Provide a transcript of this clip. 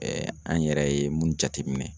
an yɛrɛ ye mun jateminɛ